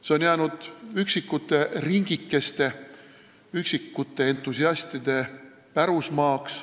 See on jäänud üksikute ringikeste, üksikute entusiastide pärusmaaks.